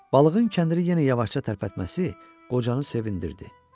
Balığın kəndiri yenə yavaşca tərpətməsi qocanı sevindirdi.